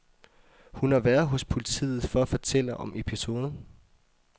Hun har været hos politiet for at fortælle om episoden.